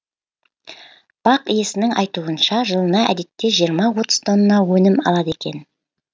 бақ иесінің айтуынша жылына әдетте жиырма отыз тонна өнім алады екен